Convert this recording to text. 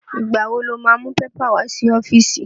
Ìgbà wo lo má mú pépà wá sí ọ́fíìsì?